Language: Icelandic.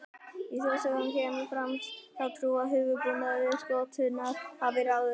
Í þjóðsögum kemur fram sú trú að höfuðbúnaður skottunnar hafi ráðið heitinu.